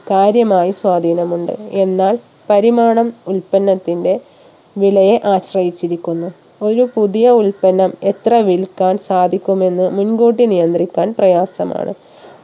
കാര്യമായ സ്വാധീനം ഉണ്ട് എന്നാൽ പരിമാണം ഉൽപ്പന്നത്തിന്റെ വിലയെ ആശ്രയിച്ചിരിക്കുന്നു ഒരു പുതിയ ഉൽപ്പന്നം എത്ര വിൽക്കാൻ സാധിക്കുമെന്ന് മുൻകൂട്ടി നിയന്ത്രിക്കാൻ പ്രയാസമാണ്